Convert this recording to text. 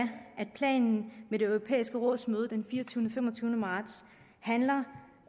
planen med det europæiske rådsmøde den fireogtyvende fem og tyve marts